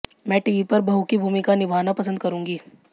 मैं टीवी पर बहू की भूमिका निभाना पसंद करूंगी